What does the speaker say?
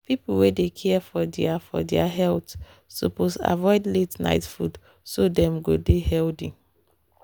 people wey dey care for their for their health suppose avoid late-night food so dem go dey healthy.